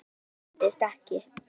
Varan seldist ekki.